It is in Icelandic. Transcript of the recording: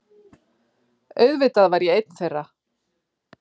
Auðvitað var ég einn þeirra!